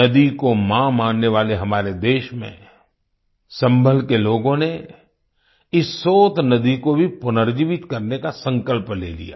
नदी को माँ मानने वाले हमारे देश में सम्भल के लोगों ने इस सोत नदी को भी पुनर्जीवित करने का संकल्प ले लिया